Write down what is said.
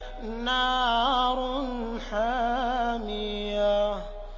نَارٌ حَامِيَةٌ